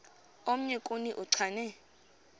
omnye kuni uchane